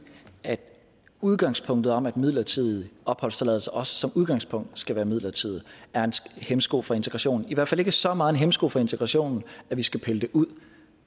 at udgangspunktet om at midlertidig opholdstilladelse også som udgangspunkt skal være midlertidig er en hæmsko for integrationen i hvert fald ikke så meget en hæmsko for integrationen at vi skal pille det ud